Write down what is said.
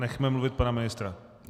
Nechme mluvit pana ministra.